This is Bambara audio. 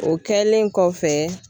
O kɛlen kɔfɛ